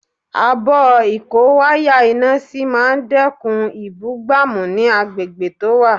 Abọ́ ìkó wáyà iná sí máa dẹ́kun ìbúgbàmù ní agbègbè tó wà